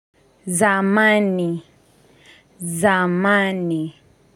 Zamani. Zamani.